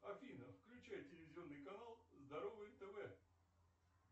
афина включай телевизионный канал здоровый тв